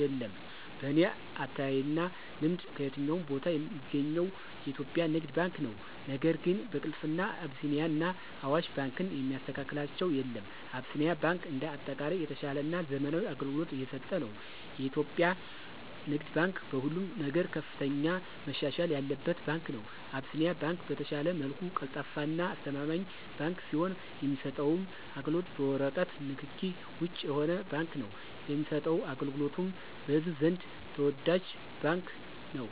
የለም። በኔ አተያይና ልምድ ከየትኛውም ቦታ ሚገኘው የኢትዮጵያ ንግድ ባንክ ነው ነገር ግን በቅልጥፍና አቢሲኒያና አዋሽ ባንክን የሚስተካከላቸው የለም። አቢሲኒያ ባንክ እንደ አጠቃላይ የተሻለና ዘመናዊ አገልግሎት እየሰጠ ነው። የኢትዮጵያ ንግድ ባንክ በሁሉም ነገር ከፍተኛ መሻሻል ያለበት ባንክ ነው። አቢሲኒያ ባንክ በተሻለ መልኩ ቀልጣፋና አስተማማኝ ባንክ ሲሆን የሚሰጠውም አገልግሎት በወረቀት ንክኪ ውጭ የሆነ ባንክ ነው ለሚሰጠው አገልግሎቱም በህዝቡ ዘንድ ተወዳጅ ባንክ ነው።